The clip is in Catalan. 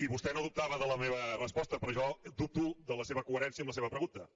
i vostè no dubtava de la meva resposta però jo dubto de la seva coherència amb la seva pregunta